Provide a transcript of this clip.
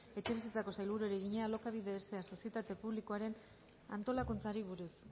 etxebizitzako sailburuari egina alokabide sa sozietate publikoaren antolakuntzari buruz